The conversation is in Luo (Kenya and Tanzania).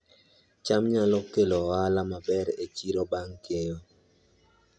cham nyalo kelo ohala maber e chiro bang' keyo